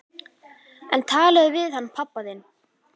En talaðu við hann pabba þinn.